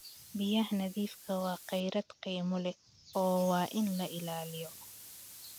Biyaha nadiifka ah waa kheyraad qiimo leh oo waa in la ilaaliyo.